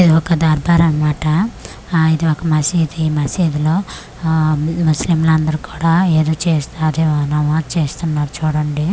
ఇది ఒక దర్బార్ అన్మాట ఆ ఇది ఒక మసీది ఈ మసీదులో ఆ ముస్లిం లందరు కూడా ఏదో చేస్తారెమో నమాజ్ చేస్తున్నారు చూడండి.